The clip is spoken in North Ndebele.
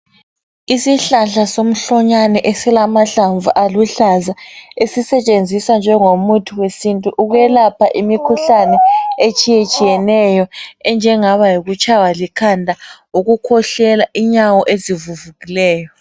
Isihlahla somhlonyane esilamahlamvu aluhlaza esisetshenziswa njengomuthi wesintu ukwelapha imikhuhlane etshiyeyetshiyeneyo engaba yikutshaywa likhanda, ukukhwehlela inyawo ezivuvukileyo